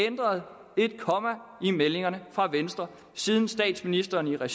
ændret et komma i meldingerne fra venstre siden statsministeren